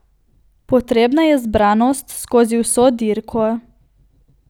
Potrebna je zbranost skozi vso dirko.